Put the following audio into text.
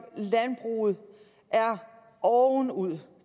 landbruget er ovenud